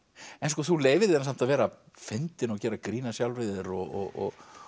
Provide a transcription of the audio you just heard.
en þú leyfir þér samt að vera fyndin og gera grín að sjálfri þér og